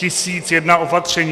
Tisíc jedna opatření.